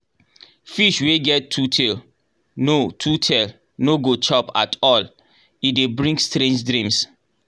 fish wey get two tail no two tail no go chop at all — e dey bring strange dreams.